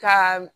Ka